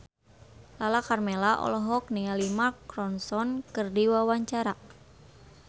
Lala Karmela olohok ningali Mark Ronson keur diwawancara